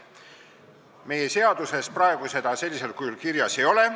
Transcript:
Meie seaduses seda praegu sellisel kujul kirjas ei ole.